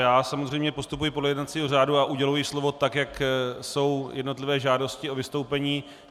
Já samozřejmě postupuji podle jednacího řádu a uděluji slovo tak, jak jsou jednotlivé žádosti o vystoupení.